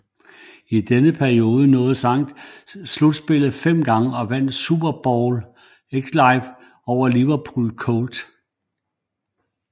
I denne periode nåede Saints slutspillet fem gange og vandt Super Bowl XLIV over Indianapolis Colts